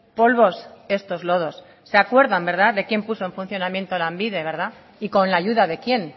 polvos estos lodos se acuerdan verdad de quién puso en funcionamiento lanbide y con la ayuda de quién